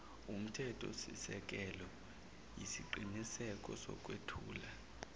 wumthethosisekelo yisiqiniseko sokwethula